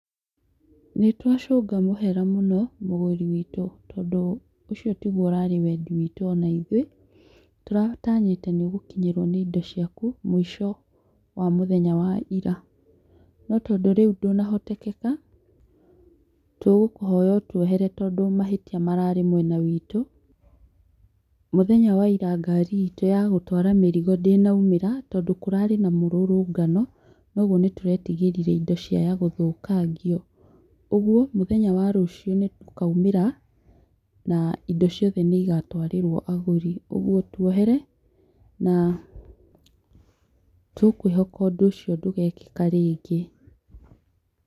Nĩ twacũnga mũhera mũno mũgũri witũ tondũ ũcio tiguo ũrarĩ wendi witũ ona ithuĩ. Tũratanyĩte nĩ ũgũkinyĩrwo nĩ indo ciaku mũico wa mũthenya wa ĩria, no tondũ rĩu ndũnahotekeka tũgũkũhoya ũtuohere, tondũ mahĩtia mararĩ mwena witũ. Mũthenya wa ĩria ngari itũ ya gũtwara mĩrigo ndĩnaumĩra, tondũ kũrarĩ na mũrũrũngano noguo nĩ tũretigĩrire indo ciaya gũthũkangio. Ũguo mũthenya wa rũcio nĩ tũkaumĩra na indo ciothe nĩ igatwarĩrwo agũri. Ũguo tuohere na tũkwĩhoka ũndũ ũcio ndũgekĩka rĩngĩ.